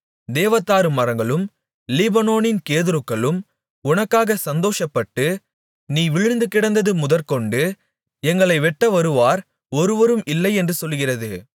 தேவதாரு மரங்களும் லீபனோனின் கேதுருக்களும் உனக்காக சந்தோஷப்பட்டு நீ விழுந்து கிடந்தது முதற்கொண்டு எங்களை வெட்டவருவார் ஒருவரும் இல்லை என்று சொல்கிறது